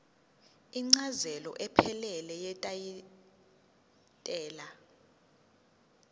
incazelo ephelele yetayitela